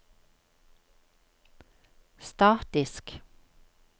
statisk